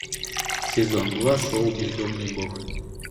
сезон два шоу бездомный бог